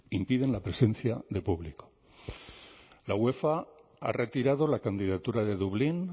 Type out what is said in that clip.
impiden la presencia de público la uefa ha retirado la candidatura de dublín